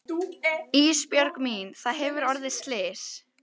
Ísbjörg mín það hefur orðið slys.